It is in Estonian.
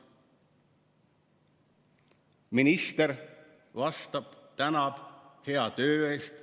Seejärel minister vastab, tänab hea töö eest.